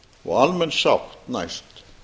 og almenn sátt næst